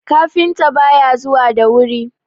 kafinta ba ya zuwa da wuri!